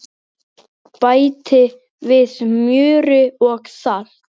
Bætti við smjöri og salti.